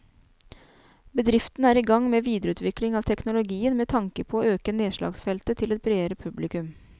Bedriften er i gang med videreutvikling av teknologien med tanke på å øke nedslagsfeltet til et bredere publikum.